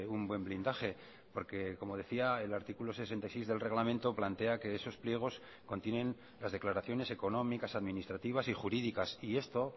un buen blindaje porque como decía el artículo sesenta y seis del reglamento plantea que esos pliegos contienen las declaraciones económicas administrativas y jurídicas y esto